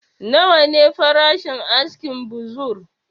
Nawa ne farashin askin buzur?